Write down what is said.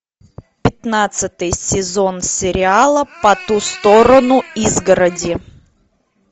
пятнадцатый сезон сериала по ту сторону изгороди